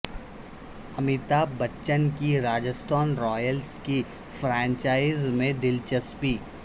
امیتابھ بچن کی راجستھان رائلز کی فرنچائز میں دلچسپی